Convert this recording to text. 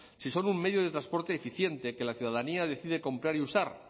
si son un medio de transporte eficiente que la ciudadanía decide comprar y usar